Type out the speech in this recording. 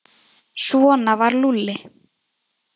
Svona var Lúlli.